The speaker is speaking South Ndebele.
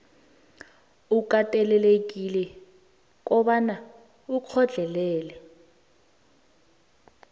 ukatelelekile kobana ukhohlelele